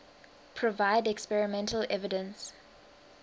provide experimental evidence